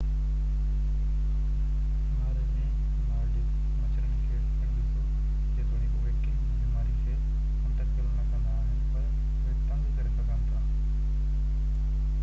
اونهاري ۾ نارڊڪ مڇرن کي پڻ ڏسو جيتوڻيڪ اهي ڪنهن به بيماري کي منتقل نه ڪندا آهن پر اهي تنگ ڪري سگهن ٿا